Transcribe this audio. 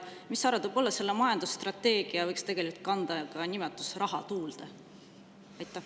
Mis sa arvad, võib-olla see majandusstrateegia võiks tegelikult kanda ka nimetust "raha tuulde"?